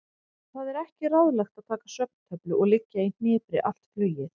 Það er ekki ráðlegt að taka svefntöflu og liggja í hnipri allt flugið.